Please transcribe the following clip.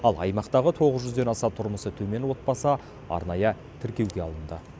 ал аймақтағы тоғыз жүзден аса тұрмысы төмен отбасы арнайы тіркеуге алынды